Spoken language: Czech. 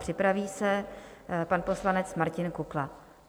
Připraví se pan poslanec Martin Kukla.